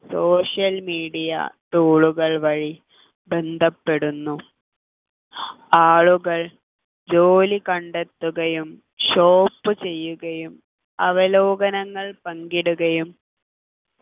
social media tool കൾ വഴി ബന്ധപ്പെടുന്നു ആളുകൾ ജോലി കണ്ടെത്തുകയും shop ചെയ്യുകയും അവലോകനങ്ങൾ പങ്കിടുകയും